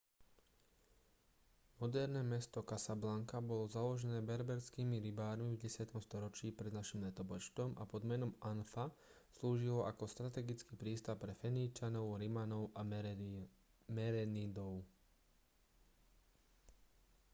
moderné mesto casablanca bolo založené berberskými rybármi v 10. storočí pred n l a pod menom anfa slúžilo ako strategický prístav pre feničanov rimanov a merenidov